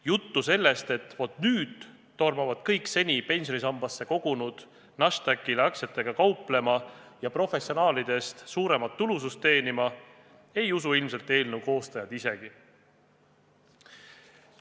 Juttu sellest, et nüüd tormavad kõik seni pensionisambasse kogunud Nasdaqile aktsiatega kauplema ja professionaalidest suuremat tulusust teenima, ei usu ilmselt eelnõu koostajad isegi.